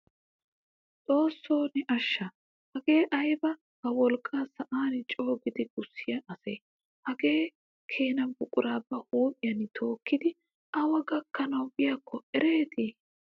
Xoossoo ne ashsha! hagee ayba ba wolqqaa sa'an coogidi gussiyaa asee hagaa kena buquraa ba huphphiyaan tokkidi awa gakkanawu biyaakko erettena!